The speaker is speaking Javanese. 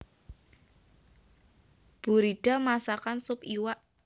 Buridda masakan sup iwak